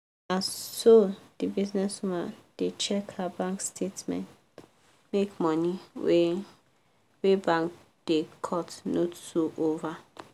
na so the business woman da check her bank statement make money wey wey bank da cut no too over